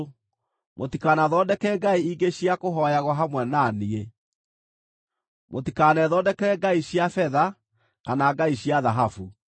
Mũtikanathondeke ngai ingĩ cia kũhooyagwo hamwe na niĩ; mũtikanethondekere ngai cia betha kana ngai cia thahabu.